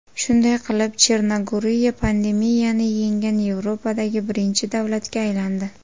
Shunday qilib, Chernogoriya pandemiyani yenggan Yevropadagi birinchi davlatga aylandi.